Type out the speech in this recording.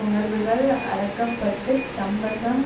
உணர்வுகள் அடக்கப்பட்டுத் தம்வசம்